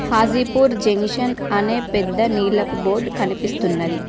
Hajipur junction అనే పెద్ద నీలపు బోర్డ్ కనిపిస్తున్నది.